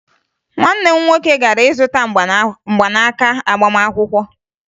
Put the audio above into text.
Nwanne m nwoke gara ịzụta mgbanaaka agbamakwụkwọ